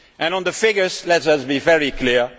On the figures, let us be very clear.